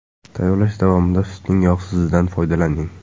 Tayyorlash davomida sutning yog‘sizidan foydalaning.